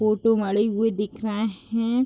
Photo मढ़ीहि हुई दिख रहे है।